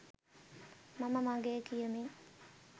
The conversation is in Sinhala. මම මගේ කියමින්